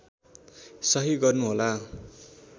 सहि गर्नु होला